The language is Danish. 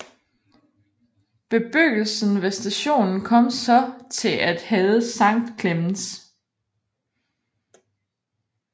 Bebyggelsen ved stationen kom så til at hedde Sankt Klemens